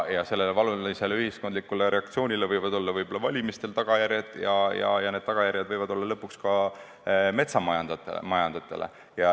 Sellel valulisel ühiskondlikul reaktsioonil võivad olla võib-olla tagajärjed valimistel ja need tagajärjed võivad tekkida lõpuks ka metsamajandajatel.